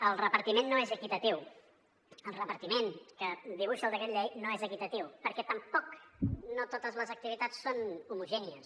el repartiment no és equitatiu el repartiment que dibuixa el decret llei no és equitatiu perquè tampoc no totes les activitats són homogènies